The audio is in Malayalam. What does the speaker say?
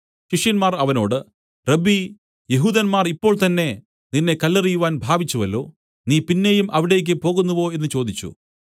ശിഷ്യന്മാർ അവനോട് റബ്ബീ യെഹൂദന്മാർ ഇപ്പോൾ തന്നേ നിന്നെ കല്ലെറിയുവാൻ ഭാവിച്ചുവല്ലോ നീ പിന്നെയും അവിടെ പോകുന്നുവോ എന്നു ചോദിച്ചു